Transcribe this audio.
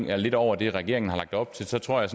er lidt over det regeringen har lagt op til så tror jeg